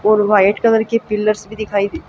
और white colour के pillars भी दिखाई--